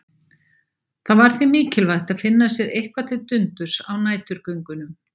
Það var því mikilvægt að finna sér eitthvað til dundurs á næturgöngunum.